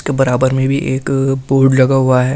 के बराबर में भी एक बोर्ड लगा हुआ है।